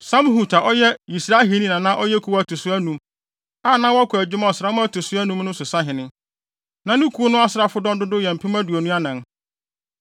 Samhut a ɔyɛ Yisrahini na na ɔyɛ kuw a ɛto so anum, a na wɔkɔ adwuma ɔsram a ɛto so anum mu no so sahene. Na ne kuw no asraafodɔm dodow yɛ mpem aduonu anan (24,000).